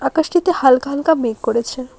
আকাশটিতে হালকা হালকা মেঘ করেছে।